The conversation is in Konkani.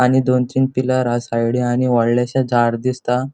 आणि दोन तीन पिलर हा साइडीन आणि वोडलेशे झाड दिसता.